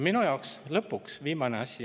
Ja lõpuks, viimane asi.